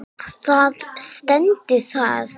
Þar stendur það.